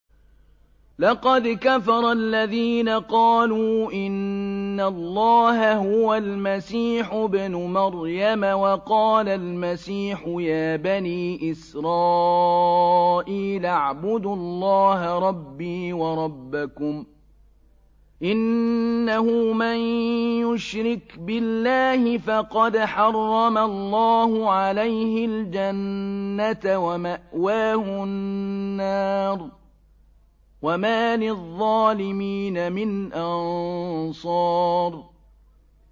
لَقَدْ كَفَرَ الَّذِينَ قَالُوا إِنَّ اللَّهَ هُوَ الْمَسِيحُ ابْنُ مَرْيَمَ ۖ وَقَالَ الْمَسِيحُ يَا بَنِي إِسْرَائِيلَ اعْبُدُوا اللَّهَ رَبِّي وَرَبَّكُمْ ۖ إِنَّهُ مَن يُشْرِكْ بِاللَّهِ فَقَدْ حَرَّمَ اللَّهُ عَلَيْهِ الْجَنَّةَ وَمَأْوَاهُ النَّارُ ۖ وَمَا لِلظَّالِمِينَ مِنْ أَنصَارٍ